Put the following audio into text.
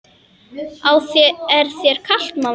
Er þér kalt mamma?